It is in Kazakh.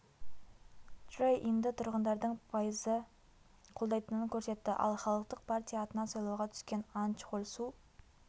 чжэ инді тұрғындардың пайызы қолдайтынын көрсетті ал халықтық партия атынан сайлауға түскен ан чхоль су